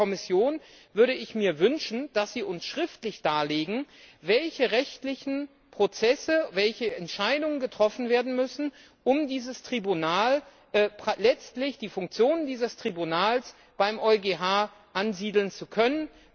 Und von der Kommission würde ich mir wünschen, dass Sie uns schriftlich darlegen, welche rechtlichen Prozesse, welche Entscheidungen getroffen werden müssen, um dieses Tribunal, letztlich die Funktionen dieses Tribunals, beim EuGH ansiedeln zu können.